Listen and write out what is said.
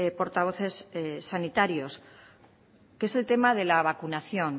portavoces sanitarios que es el tema de la vacunación